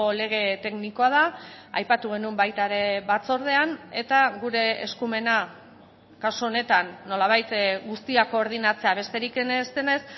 lege teknikoa da aipatu genuen baita ere batzordean eta gure eskumena kasu honetan nolabait guztia koordinatzea besterik ez denez